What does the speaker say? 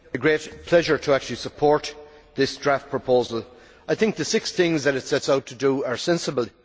Mr President, it is a great pleasure to actually support this draft proposal. I think the six things that it sets out to do are sensible.